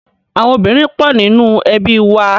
Àwọn obìnrin pọ̀ nínú ẹbí wa.